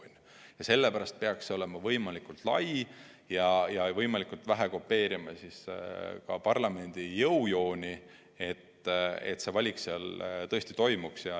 Sellepärast peakski valijameeste kogu olema võimalikult lai ja võimalikult vähe kopeerima parlamendi jõujooni, et valik seal tõesti ära tehtaks.